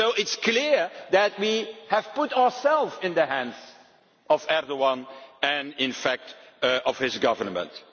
So it is clear that we have put ourselves in the hands of Erdoǧan and, in fact, of his government.